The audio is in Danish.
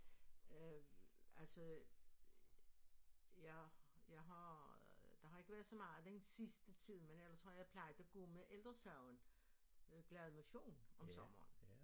Øh altså jeg jeg har der har ikke været så meget den sidste tid men ellers har jeg plejet at gå med Ældre Sagen Glad Motion om sommeren